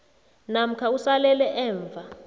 namkha usalele emva